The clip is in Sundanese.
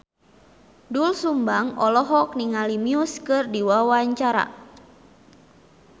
Doel Sumbang olohok ningali Muse keur diwawancara